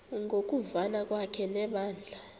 ngokuvana kwakhe nebandla